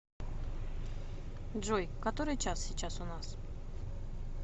джой который час сейчас у нас